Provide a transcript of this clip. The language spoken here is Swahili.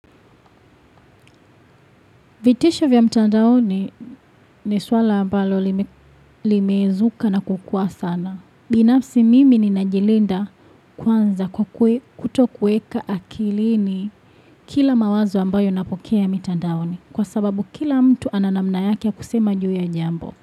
Vitisha vya mtandaoni ni swala ambalo lime limezuka na kukua sana. Binafsi mimi ninajilinda kwanza kwa kuwe kutokueka akilini kila mawazo ambayo ninapokea ya mtandaoni. Kwa sababu kila mtu ana namna yake ya kusema juu ya jambo.